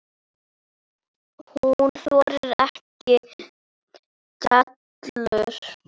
Hún þolir ekki dellur.